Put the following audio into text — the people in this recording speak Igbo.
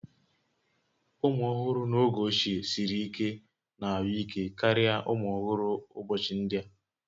Ụmụ ọhụrụ n'oge ochie siri ike na ahụike karịa ụmụ ọhụrụ ụbọchị ndị a